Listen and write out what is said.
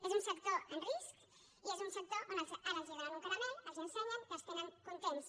és un sector en risc i és un sector on ara els donen un caramel els l’ensenyen i els tenen contents